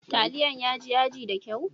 Taliyan ya ji yaji da kyau?